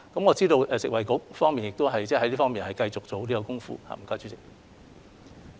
我知道食物及衞生局在這方面亦繼續下有關工夫。